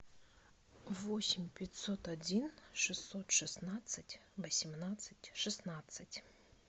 восемь пятьсот один шестьсот шестнадцать восемнадцать шестнадцать